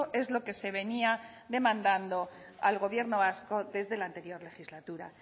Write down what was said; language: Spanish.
es lo que se venía demandando al gobierno vasco desde la anterior legislatura